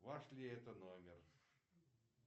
ваш ли это номер